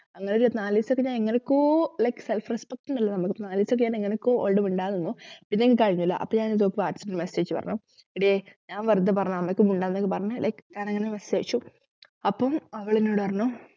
അങ്ങനെയൊരു നാലുദിവസത്തേക്ക് ഞാൻ എങ്ങനെയൊക്കൊ like self respect എന്നുള്ള നമ്മക്ക് നാലുദിവസക്കെ ഞാൻ എങ്ങനെയൊക്കൊ ഓളോട് മിണ്ടാതെനിന്നു പിന്നെ എനിക്ക് കഴിയുന്നില്ല അപ്പൊ ഞാൻ എന്തോ വാട്സാപ്പിൽ message അയച്ചു പറഞ്ഞു എടിയേ ഞാൻ വെറുതെ പറഞ്ഞതാണ് നിനക്ക് like ഞാനങ്ങനെ message അയച്ചു അപ്പം അവളെന്നോട് പറഞ്ഞു